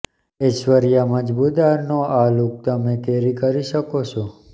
ઐશ્વર્યા મજમુદારનો આ લૂક તમે કૅરી કરી શકો છો